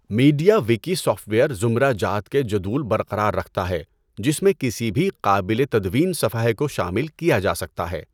Media Wiki software زمرہ جات کے جدول برقرار رکھتا ہے جس میں کسی بھی قابل تدوین صفحہ کو شامل کیا جا سکتا ہے۔